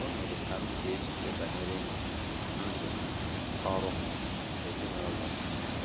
O mere ka m chee echiche banyere ndụ m, ọrụ m, ezinụlọ m.